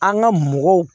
An ka mɔgɔw